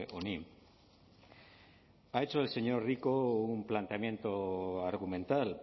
honi lo ha hecho el señor rico un planteamiento argumental